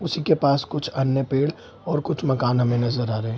उसी के पास कुछ अन्य पेड़ और कुछ मकान हमें नजर आ रहे हैं।